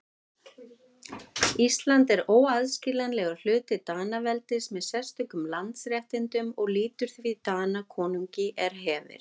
Ísland er óaðskiljanlegur hluti Danaveldis með sérstökum landsréttindum og lýtur því Danakonungi er hefir.